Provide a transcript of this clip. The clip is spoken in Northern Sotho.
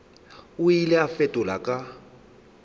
o ile a fetola ka